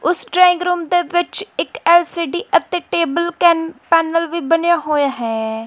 ਉਸ drawing room ਦੇ ਵਿੱਚ ਐਲ_ਸੀ_ਡੀ ਅਤੇ ਟੇਬਲ ਕੇਨ ਪੈਨਲ ਵੀ ਬਨੇ ਹੋਏ ਹੈ।